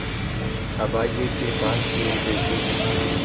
अभागे के पास तीन पैसे है